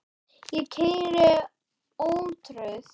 Ég keyri ótrauð